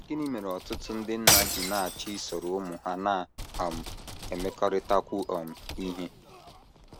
Gịnị mere ọtụtụ ndị nna ji na - achọ isoro ụmụ ha na - um emekọrịtakwu um ihe?